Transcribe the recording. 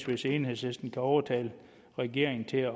hvis enhedslisten kan overtale regeringen til at